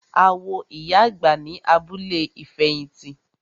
A wo ìyá àgbà ní abúlé ìfẹ̀hìtì.